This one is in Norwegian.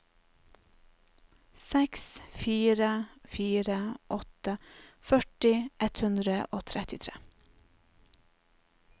seks fire fire åtte førti ett hundre og trettitre